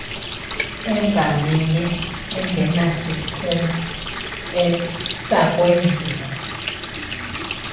engaminye engenasiphumo sakwenziwa